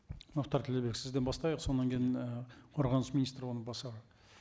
мұхтар ділдәбек сізден бастайық содан кейін мына қорғаныс министрі орынбасары